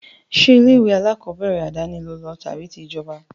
Ṣé ilé-ìwé alákọọ́bẹ̀rẹ̀ àdáni lo lọ àbí ti ìjọba?